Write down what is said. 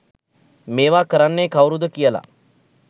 මේවා කරන්නේ කව්රුද කියල.